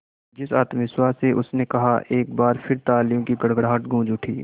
जिस आत्मविश्वास से उसने कहा एक बार फिर तालियों की गड़गड़ाहट गूंज उठी